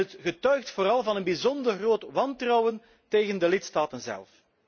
En het getuigt vooral van een bijzonder groot wantrouwen tegen de lidstaten zelf.